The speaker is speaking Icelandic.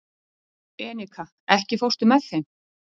Enika, ekki fórstu með þeim?